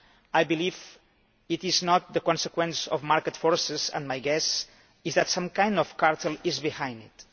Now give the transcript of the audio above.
I believe it is not the consequence of market forces and my guess is that some sort of cartel is behind it.